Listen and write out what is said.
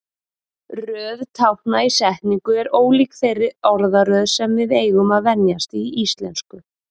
Röð tákna í setningu er ólík þeirri orðaröð sem við eigum að venjast í íslensku.